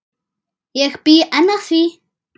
Ég bý enn að því.